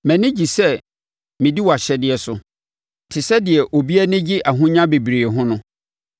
Mʼani gye sɛ medi wʼahyɛdeɛ so te sɛdeɛ obi anigye ahonya bebree ho no.